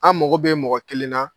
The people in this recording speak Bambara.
An mago bɛ mɔgɔ kelen na